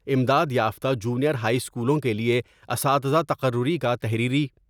امداد یافتہ junior high اسکولوں کے لئے اساتزہ تقرری کا تحریری